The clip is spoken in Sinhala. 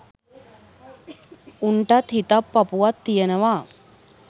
උන්ටත් හිතක් පපුවක් තියනවා.